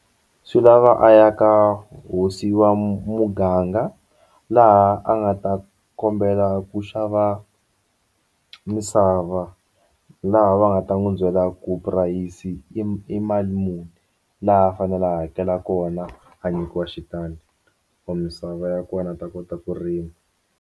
Swi lava a ya ka hosi wa muganga laha a nga ta kombela ku xava misava la laha va nga ta n'wi byela ku purayisi i mali muni laha a fanele a hakela kona a nyikiwa xitandi or misava ya kona a ta kota ku rima.